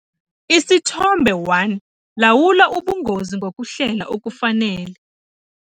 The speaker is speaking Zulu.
Isithombe 1- Lawula ubungozi ngokuhlela okufanele.